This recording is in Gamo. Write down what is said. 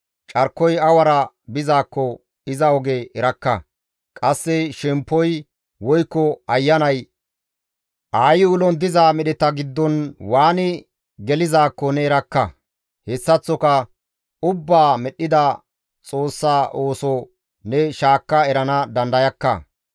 Carkoy awara bizaakko iza oge erakka; qasse shemppoy woykko ayanay aayi ulon diza medheta giddon waani gelizaakko ne erakka. Hessaththoka ubbaa medhdhida Xoossa ooso ne shaakka erana dandayakka.